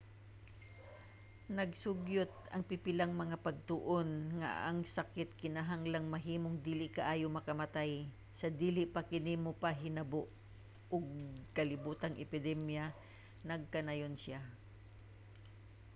nagsugyot ang pipilang mga pagtuon nga ang sakit kinahanglan mahimong dili kaayo makamatay sa dili pa kini mopahinabo og kalibotang epidemya nagkanayon siya